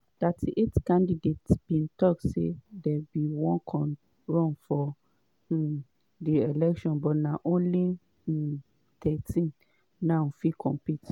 38 candidates bin tok say dem bin wan run for um di election but na only um thirteen now fit compete.